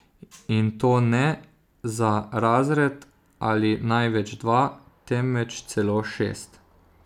In to ne za razred ali največ dva, temveč celo šest.